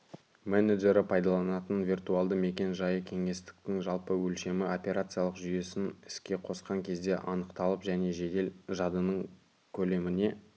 менеджері пайдаланатын виртуалды мекен-жайы кеңістіктің жалпы өлшемі операциялық жүйесін іске қосқан кезде анықталып және жедел жадының көлеміне